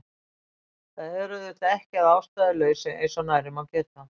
Það er auðvitað ekki að ástæðulausu eins og nærri má geta